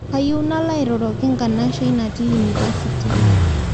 Kayieu nalo airoroki nkanashai natii inipasiti